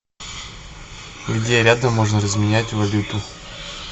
где рядом можно разменять валюту